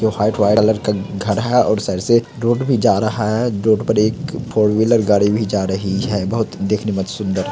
जो हाइट white colour का घर हैं और साइड से रोड भी जा रहा हैं रोड पर एक फोर व्हीलर गाड़ी भी जा रही हैं। बहोत देखने में सुन्दर--